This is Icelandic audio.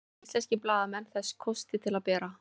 hafa íslenskir blaðamenn þessa kosti til að bera